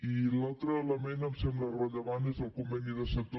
i l’altre element que em sembla rellevant és el conveni de sector